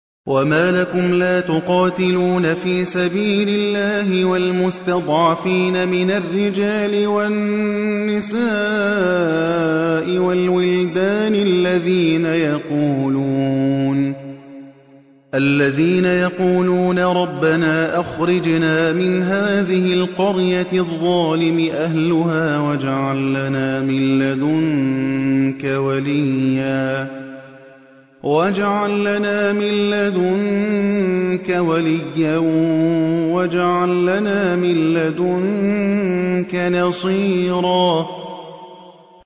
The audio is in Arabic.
وَمَا لَكُمْ لَا تُقَاتِلُونَ فِي سَبِيلِ اللَّهِ وَالْمُسْتَضْعَفِينَ مِنَ الرِّجَالِ وَالنِّسَاءِ وَالْوِلْدَانِ الَّذِينَ يَقُولُونَ رَبَّنَا أَخْرِجْنَا مِنْ هَٰذِهِ الْقَرْيَةِ الظَّالِمِ أَهْلُهَا وَاجْعَل لَّنَا مِن لَّدُنكَ وَلِيًّا وَاجْعَل لَّنَا مِن لَّدُنكَ نَصِيرًا